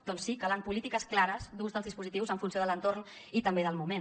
doncs sí calen polítiques clares d’ús dels dispositius en funció de l’entorn i també del moment